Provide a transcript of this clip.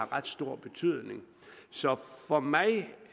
ret stor betydning så for mig